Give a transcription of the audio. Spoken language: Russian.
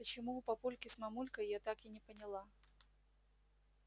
почему у папульки с мамулькой я так и не поняла